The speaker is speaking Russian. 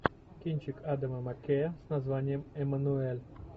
кинчик адама маккея с названием эммануэль